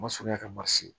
Ma surunya ka ma se